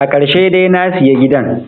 Akarshe de nasiya gidan